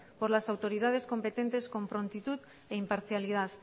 por las autoridades competentes con prontitud e imparcialidad